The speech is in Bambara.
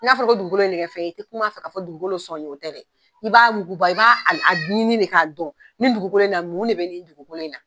N'a fɔla ko dugukolo ye nin kɛ fɛn ye, i tɛ kum'a fɛ k'a fɔ ko dugukolo sɔn ye dɛ, o tɛ , i b'a yuguba, i b'a a a ɲini de k'a dɔn ni dugukolo in na mun de bɛ nin dugukolo in na.